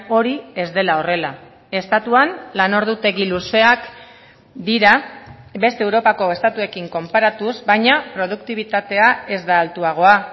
hori ez dela horrela estatuan lan ordutegi luzeak dira beste europako estatuekin konparatuz baina produktibitatea ez da altuagoa